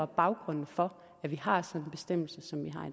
baggrunden for at vi har sådan en bestemmelse som